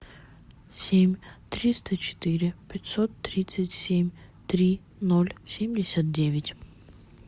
семь триста четыре пятьсот тридцать семь три ноль семьдесят девять